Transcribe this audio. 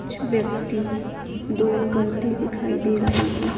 कुछ व्यक्ती दौड करते दिखायी दे रहे हैं।